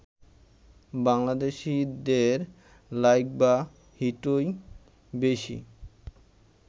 বাংলাদেশিদের লাইক বা হিটই বেশি